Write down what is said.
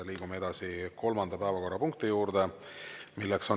Liigume edasi kolmanda päevakorrapunkti juurde.